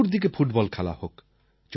চতুর্দিকে ফুটবল খেলা হোক